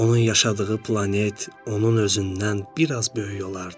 Onun yaşadığı planet onun özündən bir az böyük olardı.